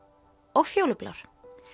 og fjólublár